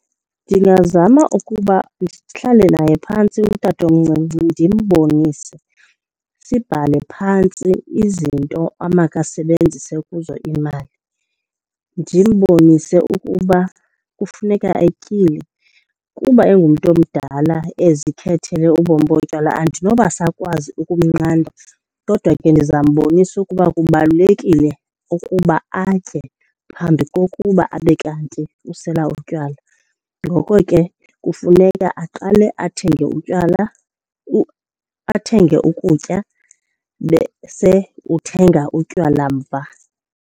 Ndingazama ukuba ndihlale naye phantsi utatomncinci ndimbonise, sibhale phantsi izinto amakasebenzise kuzo imali. Ndimbonise ukuba kufuneka atyile. Kuba engumntu omdala ezikhethele ubomi botywala andinoba sakwazi ukumnqanda kodwa ke ndizambonisa ukuba kubalulekile ukuba atye phambi kokuba abe kanti usela utywala. Ngoko ke kufuneka aqale athenge utywala , athenge ukutya bese uthenga utywala mva.